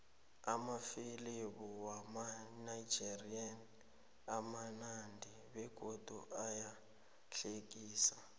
amafilimu wamanigerian amunandi begodu ayahlekisa